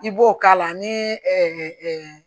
I b'o k'a la ni